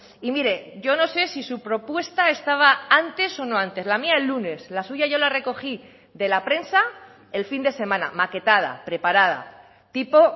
y mire yo no sé si su propuesta estaba antes o no antes la mía el lunes la suya yo la recogí de la prensa el fin de semana maquetada preparada tipo